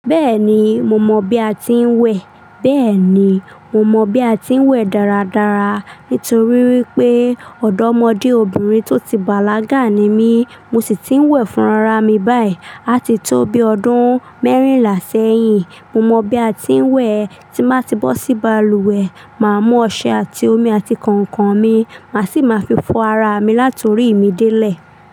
Beeni mo mọ bí a ti n wè. Bẹ́ẹ̀ni, mo mọ bí a ti ń wẹ̀ dáradára nítorí wípé ọ̀dọ́mọdé obìnrin tó ti bàlágà ni mí, mo sì ti ń wẹ̀ fún ara mi báyìí. Á ti tó bi ọdún mẹ́rìnlá sẹ́yìn, mo mọ bí a ti ń wẹ̀. Tí má ti bọ́ sí balùwẹ̀, máa mú ọṣẹ àti omi àti kànkàn mi, màá sì máa fi fọ ara mi látòrí mi délẹ̀.